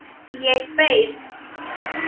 Ég beið.